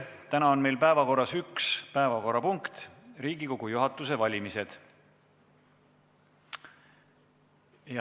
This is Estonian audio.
Täna on meil päevakorras üks päevakorrapunkt, Riigikogu juhatuse valimised.